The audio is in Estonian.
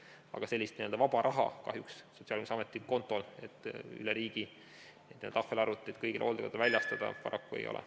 Aga sellist n-ö vaba raha kahjuks Sotsiaalkindlustusameti kontol, et üle riigi kõigile hooldekodudele tahvelarvutid väljastada, paraku ei ole.